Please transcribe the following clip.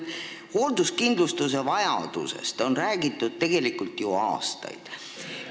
Hoolduskindlustusest on räägitud tegelikult aastaid.